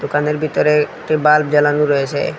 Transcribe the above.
দোকানের ভিতরে একটি বাল্ব জালানো রয়েসে।